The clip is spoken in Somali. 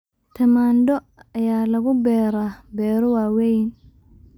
Tamaandho ayaa lagu beeraa beero waaweyn.